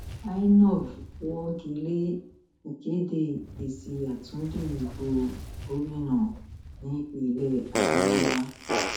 inov wọgi lé ìkéde èsì àtúndì ìbò gómìnà nípínlẹ adamawa